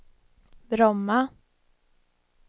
Bromma